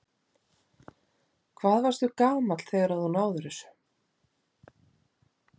Hvað varstu gamall þegar að þú náðir þessu?